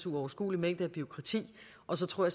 uoverskuelig mængde af bureaukrati og så tror